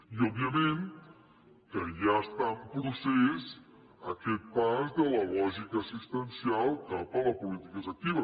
i òbviament que ja està en procés aquest pas de la lògica assistencial cap a les polítiques actives